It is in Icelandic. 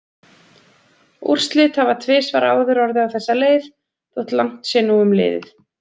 Úrslit hafa tvisvar áður orðið á þessa leið þótt langt sé nú um liðið.